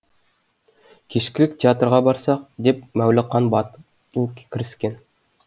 кешкілік театрға барсақ деп мәуліқан батыл кіріскен